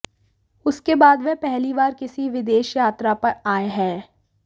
उसके बाद वह पहली बार किसी विदेश यात्रा पर आए हैं